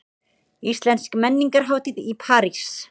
Íslensk menningarhátíð í París